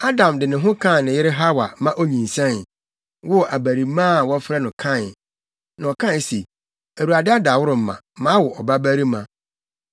Adam de ne ho kaa ne yere Hawa ma onyinsɛn, woo abarimaa a wɔfrɛ no Kain. Na ɔkae se, Awurade adaworoma, mawo ɔbabarima.